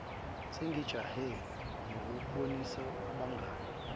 sengijahe ukuyotshengisa nabangani